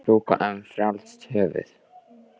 Maður má nú strjúka um frjálst höfuð!